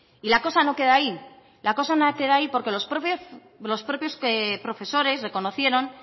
la cosa no queda ahí la cosa no queda ahí porque los propios profesores reconocieron